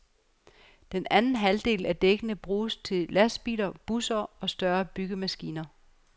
Den anden halvdel af dækkene bruges til lastbiler, busser og større byggemaskiner.